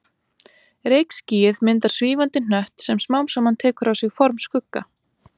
Reykskýið myndar svífandi hnött sem smám saman tekur á sig form Skugga